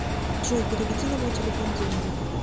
джой переведи на мой телефон деньги